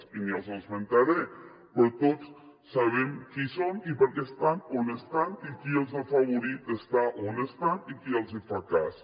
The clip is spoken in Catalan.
i no els esmentaré però tots sabem qui són i per què estan on estan i qui els ha afavorit a estar on estan i qui els fa cas